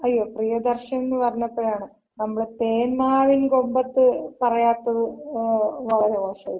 അയ്യോ പ്രീയദർശൻ എന്ന് പറഞ്ഞപ്പോഴാണ്, നമ്മള് തേന്മാവിൻ കൊമ്പത്ത് പറയാത്തത് വളരെ മോശായിപ്പോയി.